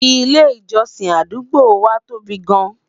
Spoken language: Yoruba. ilé ìjósìn àdúgbò wa tóbi gaan